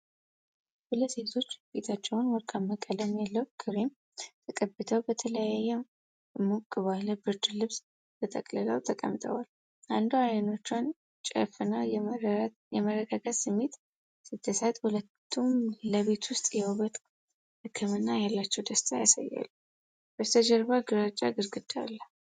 ሁለት ሴቶች ፊታቸውን ወርቃማ ቀለም ያለው ክሬም ተቀብተው በተለያዩ ሞቅ ባለ ብርድ ልብሶች ተጠቅልለው ተቀምጠዋል። አንዷ አይኖቿን ጨፍና የመረጋጋት ስሜት ስትሰጥ፣ ሁለቱም ለቤት ውስጥ የውበት ሕክምና ያላቸውን ደስታ ያሳያሉ። በስተጀርባ ግራጫ ግድግዳ አለ።